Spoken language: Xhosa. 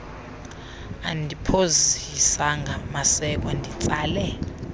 andiphozisanga maseko nditsale